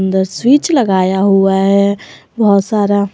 अंदर स्विच लगाया हुआ है बहुत सारा।